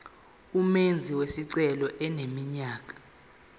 umenzi wesicelo eneminyaka